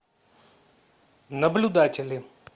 наблюдатели